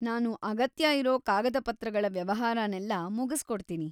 ನಾನು ಅಗತ್ಯ ಇರೋ ಕಾಗದಪತ್ರಗಳ ವ್ಯವಹಾರನೆಲ್ಲ ಮುಗಿಸ್ಕೊಡ್ತೀನಿ.